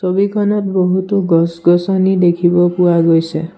ছবিখনত বহুতো গছ-গছনি দেখিব পোৱা গৈছে।